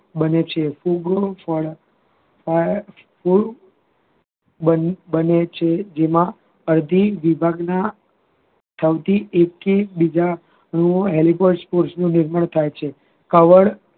બને છે બને છે જેમાં અડધી વિભાગના કોષનું નિર્માણ થાય છે કવળ